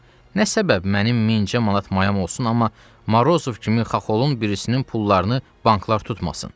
Xub, nə səbəb mənim mincə manat mayam olsun, amma Morozov kimi xaxolun birisinin pullarını banklar tutmasın.